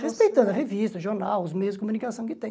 Respeitando a revista, o jornal, os meios de comunicação que tem.